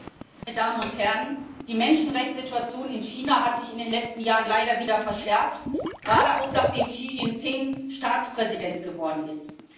Herr Präsident! Meine Damen und Herren, die Menschenrechtssituation in China hat sich in den letzten Jahren leider wieder verschärft, gerade auch, nachdem Xi Jinping Staatspräsident geworden ist.